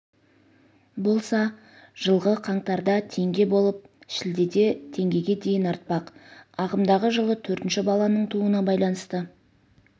болса жылғы қаңтарда теңге болып шілдеде теңгеге дейін артпақ ағымдағы жылы төртінші баланың тууына байланысты